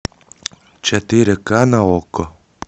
четыре ка на окко